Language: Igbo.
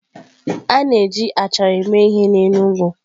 A na-eji achara eme ihe n'Enugwu.